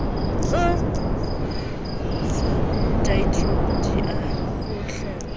sa deidro di a kgolweha